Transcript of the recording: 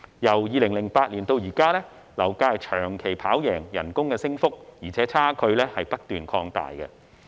由2008年至今，樓價的升幅長期高於工資的升幅，而且差距不斷擴大。